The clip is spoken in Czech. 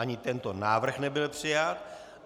Ani tento návrh nebyl přijat.